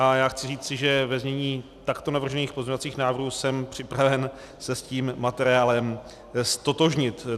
A já chci říci, že ve znění takto navržených pozměňovacích návrhů jsem připraven se s tím materiálem ztotožnit.